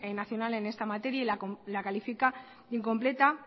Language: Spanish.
nacional en esta materia y la califica de incompleta